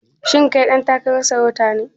Shin kai ɗan takarar sarauta ne?